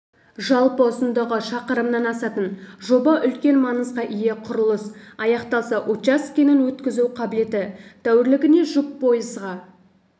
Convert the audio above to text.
жалпы ұзындығы шақырымнан асатын жоба үлкен маңызға ие құрылыс аяқталса учаскенің өткізу қабілеті тәулігіне жұп пойызға